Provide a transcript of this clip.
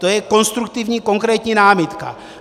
To je konstruktivní konkrétní námitka.